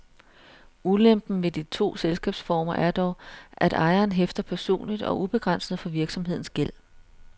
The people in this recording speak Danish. Ulempen ved de to selskabsformer er dog, at ejeren hæfter personligt og ubegrænset for virksomhedens gæld.